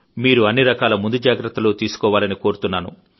మీరు అన్ని రకాల ముందు జాగ్రత్తలు తీసుకోవాలని కోరుతున్నాను